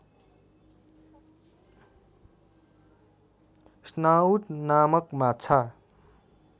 snout नामक माछा